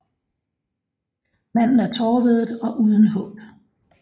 Manden er tårevædet og uden håb